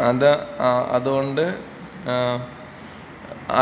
അഎന്താ ആ അതോണ്ട് ഏ